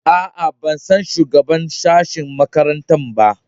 A a, ban san shugaban sashe makarantana ba.